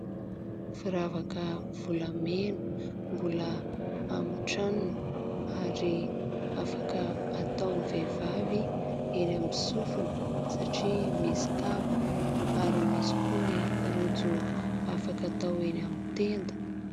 Firavaka volamena mbola amin'ny tranony, ary afaka ataon'ny vehivavy eny amin'ny sofina, satria misy kavina ; ary misy koa ny rojo afaka atao eny amin'ny tenda.